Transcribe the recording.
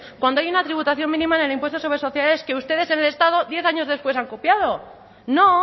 cuando hay una tributación mínima en el impuesto sobre sociedades que ustedes en el estado diez años después han copiado no